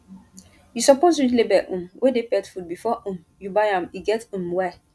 you suppose read label um wey dey pet food before um you buy am e get um why